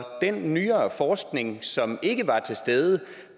den nyere forskning som ikke var til stede